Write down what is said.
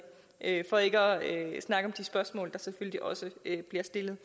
at snakke om de spørgsmål der selvfølgelig også bliver stillet